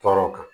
Tɔɔrɔ kan